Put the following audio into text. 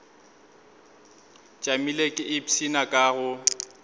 tšamile ke ipshina ka go